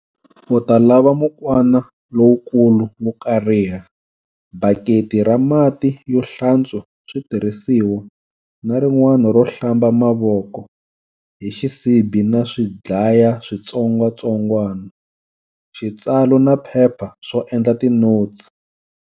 U ta lava mukwana lowukulu wo kariha, baketi ra mati yo hlantswa switirhisiwa na rin'wana ro hlamba mavoko, hi xisibi na swidlaya switsongwasongwana, xitsalo na phepha swo endla tinotsi.